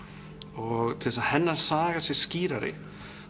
og til þess að hennar saga sé skýrari